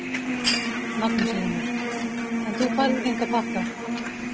Magnús Hlynur: En þú færð enga pakka?